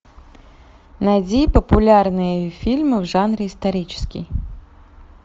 найди популярные фильмы в жанре исторический